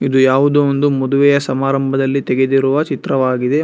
ಇದು ಯಾವುದೋ ಒಂದು ಮದುವೆ ಸಮಾರಂಭದಲ್ಲಿ ತಗೆದಿರುವ ಚಿತ್ರವಾಗಿದೆ.